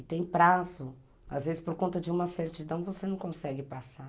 E tem prazo, às vezes por conta de uma certidão você não consegue passar.